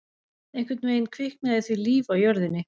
Einhvern veginn kviknaði því líf á jörðinni.